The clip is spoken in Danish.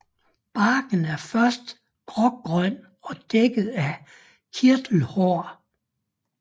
Barken er først grågrøn og dækket af kirtelhår